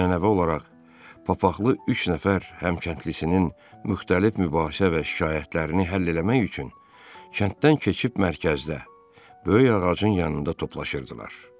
Ənənəvi olaraq papaxlı üç nəfər həm kəndlisinin müxtəlif mübahisə və şikayətlərini həll eləmək üçün kənddən keçib mərkəzdə, böyük ağacın yanında toplaşırdılar.